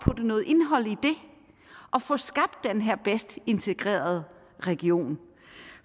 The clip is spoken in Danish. putte noget indhold i og få skabt den her bedst integrerede region